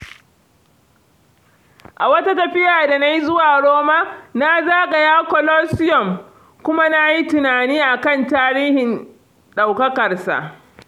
A wata tafiyata da na yi zuwa Roma, na zagaya Colosseum kuma na yi tunani a kan tarihin ɗaukakarsa.